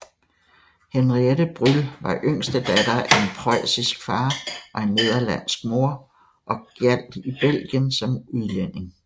Henriette Brüll var yngste datter af en preussisk far og en nederlandsk mor og gjaldt i Belgien som udlænding